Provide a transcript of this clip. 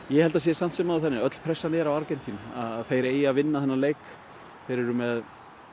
ég held að það sé samt sem áður þannig að öll pressan er á Argentínu þeir eiga að vinna þennan leik þeir eru með